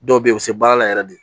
Dɔw bɛ yen u bɛ se baara la yɛrɛ de